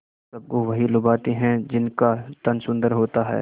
सबको वही लुभाते हैं जिनका तन सुंदर होता है